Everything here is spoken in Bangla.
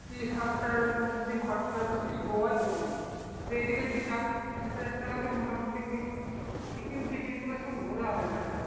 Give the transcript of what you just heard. ত্রিশ হাজার টাকা মত যদি খরচা হয় তাহলে সেই গোয়াই ঘুরবি এই দিকে যদি যাস তো ওই ত্রিশ হাজার টাকায় মোটামুটি সব ঘোরা হয়ে যাবে